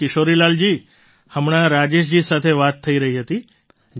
તો કિશોરીલાલજી હમણાં રાજેશજી સાથે વાત થઈ રહી હતી